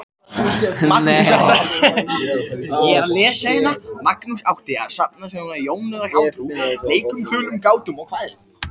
Magnús átti að safna sögum en Jón hjátrú, leikum, þulum, gátum og kvæðum.